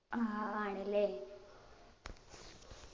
ആ ആണ് ല്ലേ